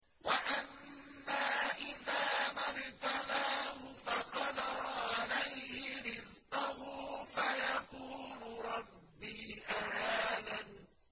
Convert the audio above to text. وَأَمَّا إِذَا مَا ابْتَلَاهُ فَقَدَرَ عَلَيْهِ رِزْقَهُ فَيَقُولُ رَبِّي أَهَانَنِ